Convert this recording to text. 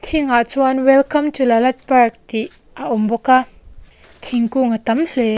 thing ah chuan welcome to lalat park tih a awm bawk a thingkung a tam hle.